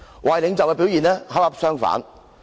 壞領袖的表現恰恰相反。